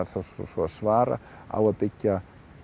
svo að svara á að byggja